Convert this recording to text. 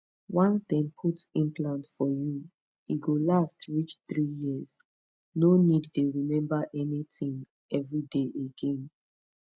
once dem put implant for you e go last reach 3yrs no need dey remember anything every day again